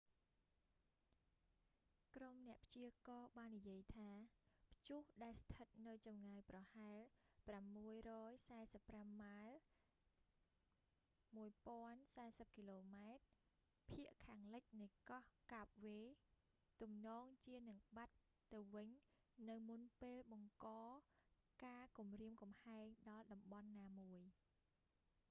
ក្រុមអ្នកព្យាករណ៍បាននិយាយថា ព្យុះដែលស្ថិតនៅចម្ងាយប្រហែល 645 ម៉ាលយ៍ 1040 គ.ម. ភាគខាងលិចនៃកោះ កាបវ៉េ cape verde ទំនងជានឹងបាត់ទៅវិញនៅមុនពេលបង្កការគំរាមកំហែងដល់តំបន់ណាមួយ